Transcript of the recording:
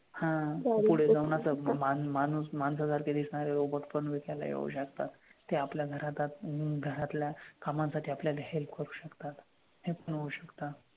हां ते पुढे जाऊन असं मान माणूस माणसासारखे दिसणारे पण robot पण विकायला येऊ शकतात. ते आपल्या घरात आत घरातल्या कामांसाठी आपल्याला help करू शकतात. हे पण होऊ शकतात.